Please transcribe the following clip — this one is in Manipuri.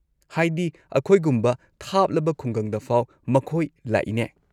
ꯍꯥꯏꯗꯤ, ꯑꯈꯣꯏꯒꯨꯝꯕ ꯊꯥꯞꯂꯕ ꯈꯨꯡꯒꯪꯗꯐꯥꯎ ꯃꯈꯣꯏ ꯂꯥꯛꯏꯅꯦ꯫